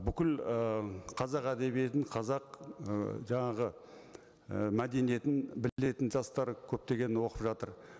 бүкіл ы қазақ әдебиетін қазақ ы жаңағы і мәдениетін білетін жастар көптеген оқып жатыр